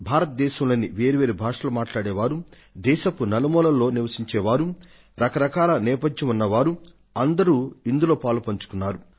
భారతదేశంలోని వేర్వేరు భాషలు మాట్లాడే వారు దేశపు నలుమూల్లో నివసించే వారు రక రకాల నేపథ్యం ఉన్న వారు అంతా ఇందులో పాలుపంచుకున్నారు